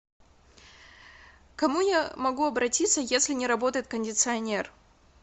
к кому я могу обратиться если не работает кондиционер